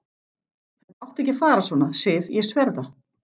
Þetta átti ekki að fara svona, Sif, ég sver það.